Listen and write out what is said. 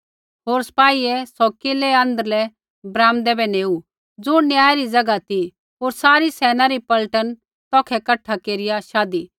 होर सपाहिये सौ किलै रै आँध्रलै ब्राम्दै बै नेऊ ज़ुण न्याय री ज़ैगा ती होर सारी सैना री पलटन तौखै कठा केरिया शाधी